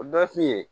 O dɔ ye kun ye